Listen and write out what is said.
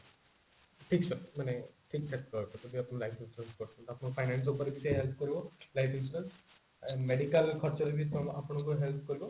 fix ଆଉ ମାନେ ଠିକଠାକ ରହିବ ଯଦି ଆପଣ life insurance କରୁଛନ୍ତି ଆପଣଙ୍କୁ finance ଉପରେ କିଛି help କରିବ life insurance medical ଖର୍ଚ ରେ ବି ଆପଣଙ୍କୁ help କରିବ